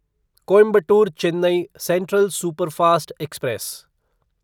Coimbatore Chennai central superfast express